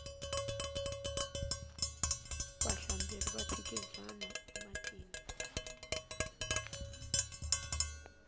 vahlamberi va phikizana ematini